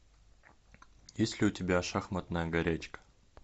есть ли у тебя шахматная горячка